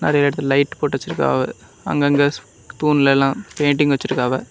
நெறைய இடத்துல லைட் போட்டு வச்சிருக்காவ அங்கங்க தூண்ல எல்லா பெயிண்டிங் வெச்சிருக்காவ.